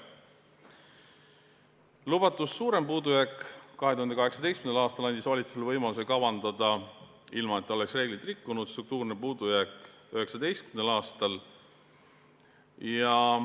Lubatust suurem puudujääk 2018. aastal andis valitsusele võimaluse kavandada struktuurset puudujääki 2019. aastal.